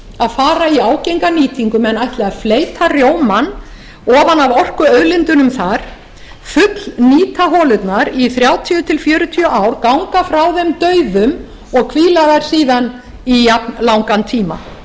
að fara í ágenga nýtingu menn ætli að fleyta rjómann ofan af orkuauðlindunum þar fullnýta holurnar í þrjátíu til fjörutíu ár ganga frá þeim dauðum og hvíla þær síðan í alllangan tíma